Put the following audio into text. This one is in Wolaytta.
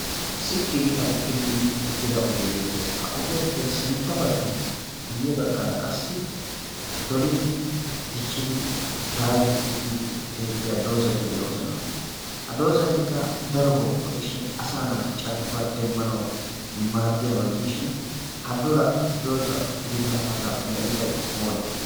sitti gi aduqqi biidi uttida ogee beettees. ha ogiyaappe sintta bagga guyye baggaara qassi dolidi diccidi daayidi uttidi beettiya doozati de'oosona a doozatikka darobau go'ishin asa naati carkkuwaa demmanau maaddiyaabaa gidishin ha dola doza gididaafata medhidai oonee?